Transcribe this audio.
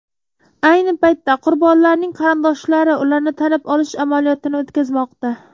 Ayni paytda qurbonlarning qarindoshlari ularni tanib olish amaliyotini o‘tkazmoqda.